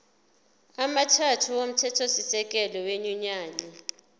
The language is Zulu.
amathathu omthethosisekelo wenyunyane